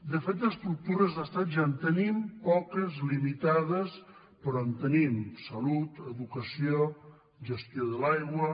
de fet d’estructures d’estat ja en tenim poques limitades però en tenim salut educació gestió de l’aigua